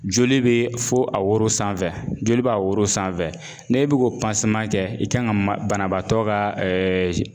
Joli bɛ fo a woro sanfɛ joli b'a woro sanfɛ n'e bɛ k'o kɛ i kan ka banabaatɔ ka